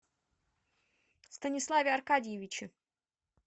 станиславе аркадьевиче